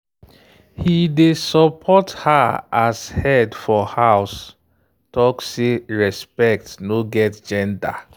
he dey support her as head for house talk say respect no get gender.